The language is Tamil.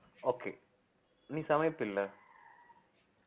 okay நீ சமைப்பி இல்ல